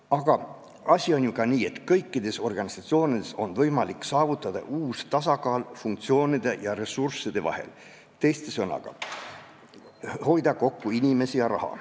Aga asi on ju ka nii, et kõikides organisatsioonides on võimalik saavutada tasakaal funktsioonide ja ressursside vahel, teiste sõnadega, hoida kokku inimesi ja raha.